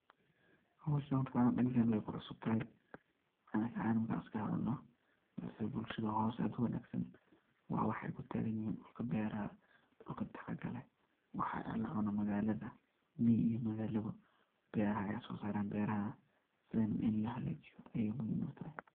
Howshan horta anaga dadkena wey kucusubtahay anaka ahan markan iska hadalno, balsa bulshada hoos ee aad u wanagsan waa waxay kutagan yihin dhulka beraha, dhulka tacabka leh waxa la cuna magalada, miyii iyo magalabo, beraha ayaa so saraan beraha sidhan ini lo hagajiyo aad ayey muhim u tahay.